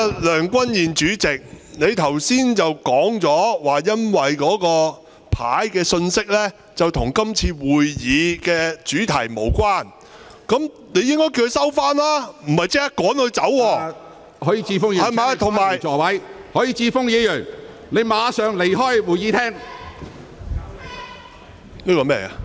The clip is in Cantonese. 梁君彥主席，你剛才說朱凱廸議員的紙牌內容與今天會議的議題無關，那麼你應該先請他收起紙牌，而不是立即把他趕離會議廳。